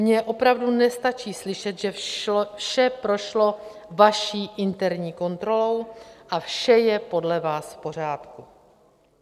Mně opravdu nestačí slyšet, že vše prošlo vaší interní kontrolou a vše je podle vás v pořádku.